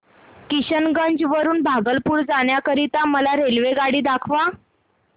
किशनगंज वरून भागलपुर जाण्या करीता मला रेल्वेगाडी दाखवा